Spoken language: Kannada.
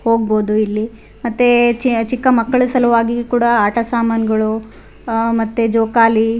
ಹೋಗ್ಬೋದು ಇಲ್ಲಿ ಮತ್ತೆ ಚಿ-ಚಿಕ್ಕ ಮಕ್ಕಳ ಸಲುವಾಗಿ ಕೂಡ ಆಟ ಸಾಮಾನ್ಗಳು ಆಹ್ಹ್ ಮತ್ತೆ ಜೋಕಾಲಿ --